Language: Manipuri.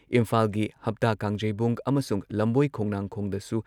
ꯏꯝꯐꯥꯜꯒꯤ ꯍꯞꯇꯥ ꯀꯥꯡꯖꯩꯕꯨꯡ ꯑꯃꯁꯨꯡ ꯂꯝꯕꯣꯏ ꯈꯣꯡꯅꯥꯡꯈꯣꯡꯗꯁꯨ